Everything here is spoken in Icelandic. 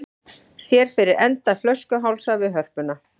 Sér fyrir enda flöskuhálsa við Hörpuna